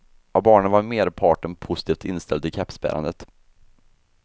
Av barnen var merparten positivt inställd till kepsbärandet.